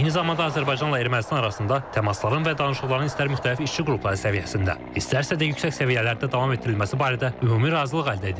Eyni zamanda Azərbaycanla Ermənistan arasında təmasların və danışıqların istər müxtəlif işçi qrupları səviyyəsində, istərsə də yüksək səviyyələrdə davam etdirilməsi barədə ümumi razılıq əldə edilib.